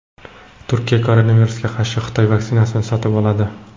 Turkiya koronavirusga qarshi Xitoy vaksinasini sotib oladi.